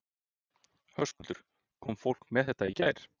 Höskuldur: Kom fólk með þetta í gær?